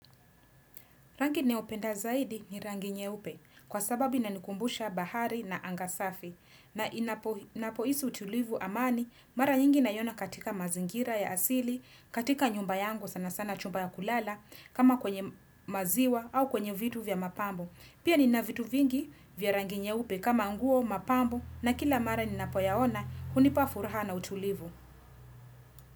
Rangi ninayoipenda zaidi ni rangi nyeupe kwa sababi inanikumbusha bahari na anga safi na ninapo hisi utulivu amani mara nyingi naiyona katika mazingira ya asili, katika nyumba yangu sana sana chumba ya kulala kama kwenye maziwa au kwenye vitu vya mapambo. Pia ni na vitu vingi vya rangi nyeupe kama nguo mapambo na kila mara ni napoyaona hunipa furaha na utulivu.